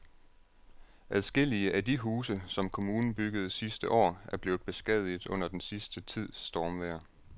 Adskillige af de huse, som kommunen byggede sidste år, er blevet beskadiget under den sidste tids stormvejr.